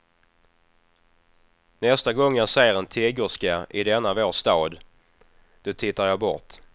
Nästa gång jag ser en tiggerska i denna vår stad, då tittar jag bort.